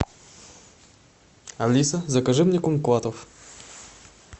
алиса закажи мне кумкватов